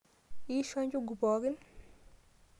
Iishwa njugu pookin?